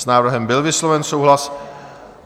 S návrhem byl vysloven souhlas.